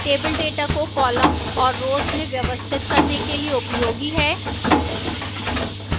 tables data को columns और rows में व्यवस्थित करने के लिए उपयोगी हैं